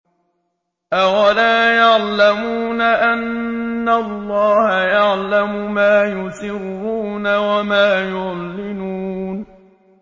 أَوَلَا يَعْلَمُونَ أَنَّ اللَّهَ يَعْلَمُ مَا يُسِرُّونَ وَمَا يُعْلِنُونَ